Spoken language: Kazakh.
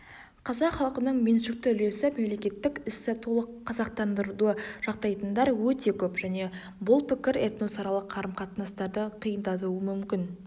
қазақ халқының меншікті үлесі мемлекеттік істі толық қазақтандыруды жақтайтындар өте көп және бұл пікір этносаралық қарым қатынастарды қиындатуы мүмкін